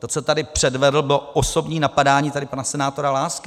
To, co tady předvedl, bylo osobní napadání tady pana senátora Lásky.